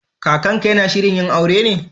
Kakanka/ki yana shirin yin aure ne?